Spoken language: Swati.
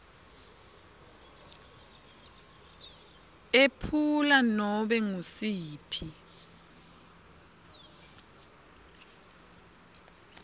ephula nobe ngusiphi